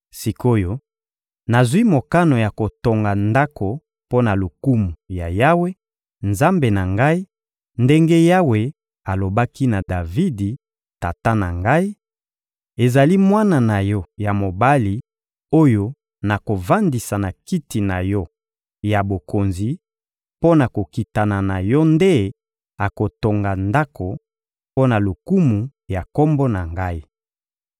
Sik’oyo, nazwi mokano ya kotonga Ndako mpo na lokumu ya Yawe, Nzambe na ngai, ndenge Yawe alobaki na Davidi, tata na ngai: «Ezali mwana na yo ya mobali oyo nakovandisa na kiti na yo ya bokonzi mpo na kokitana na yo nde akotonga Ndako mpo na lokumu ya Kombo na Ngai.»